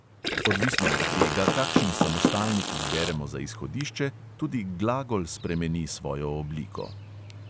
Odvisno od tega, kakšen samostalnik izberemo za izhodišče, tudi glagol spremeni svojo obliko.